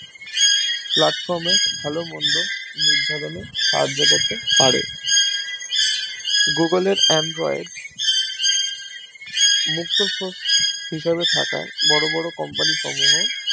Platform এ ভালোমন্দ নির্ধারন এ সাহায্য করতে পারে Google এর Android মুক্ত Source হিসেবে থাকায় বড় বড় Company সমূহ